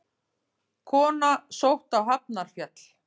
Kona sótt á Hafnarfjall